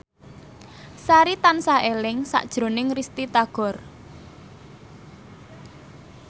Sari tansah eling sakjroning Risty Tagor